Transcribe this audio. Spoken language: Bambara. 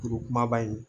Kuru kumaba in